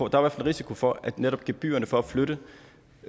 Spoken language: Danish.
risiko for at netop gebyrerne for at flytte